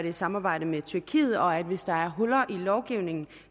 i samarbejde med tyrkiet og hvis der er huller i lovgivningen